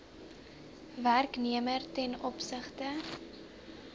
werknemer ten opsigte